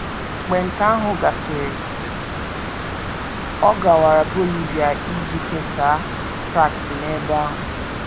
Mgbe nke ahụ gasịrị, ọ gawara Bolivia iji kesaa traktị n’ebe ahụ.